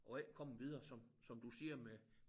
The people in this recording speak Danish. Og ikke komme videre som som du siger med